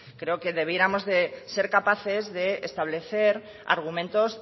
creo que debiéramos de ser capaces de establecer argumentos